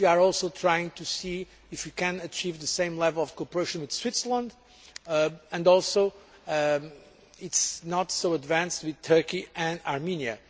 We are also trying to see if we can achieve the same level of cooperation with Switzerland and also, although it is not so advanced, with Turkey and Armenia.